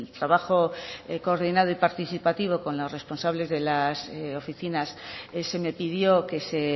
trabajo coordinado y participativo con los responsables de las oficinas se me pidió que se